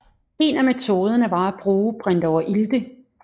En af metoderne var at bruge brintoverilte